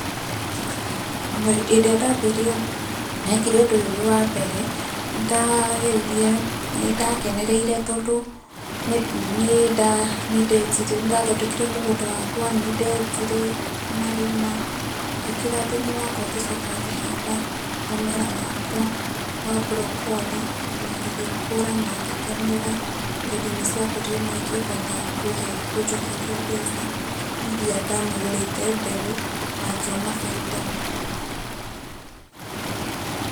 hĩndĩ ĩrĩa ndambirie ndekire ũndũ ũyũ wĩ wa mbere nĩndakenereire tondũ nĩndathondekire mũgũnda wakwa nĩ ndenjire marima ngĩkira thũmũũ wakwa ngĩcoka ngĩhanda mũmera wakwa wa broccoli na igĩkũra na ngĩkenera tondũ nĩ ciakũrire na ikĩhota kunjokeria mbeca ĩria ndagũrite mbegũ na ngĩona baĩda.